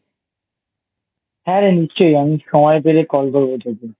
হ্যাঁ রে নিশ্চই আমি সময় পেলে Call করবো তোকে